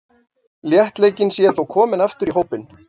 Léttleikinn sé þó kominn aftur í hópinn.